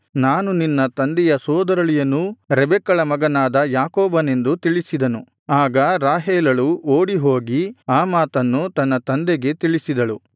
ನಾನು ನಿನ್ನ ತಂದೆಯ ಸೋದರಳಿಯನೂ ರೆಬೆಕ್ಕಳ ಮಗನಾದ ಯಾಕೋಬನೆಂದು ತಿಳಿಸಿದನು ಆಗ ರಾಹೇಲಳು ಓಡಿಹೋಗಿ ಆ ಮಾತನ್ನು ತನ್ನ ತಂದೆಗೆ ತಿಳಿಸಿದಳು